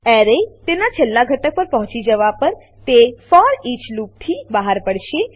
array તેનાં છેલ્લા ઘટક પર પહોંચી જવા પર તે ફોરીચ ફોરઈચ લૂપથી બહાર પડશે